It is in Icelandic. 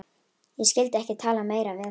Ég skyldi ekki tala meira við hann.